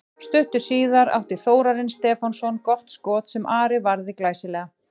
Stuttu síðar átti Þórarinn Stefánsson gott skot sem Ari varði glæsilega.